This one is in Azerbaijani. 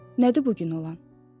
Nədir bu gün olan?